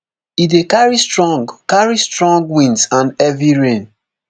e dey carry strong carry strong winds and heavy rain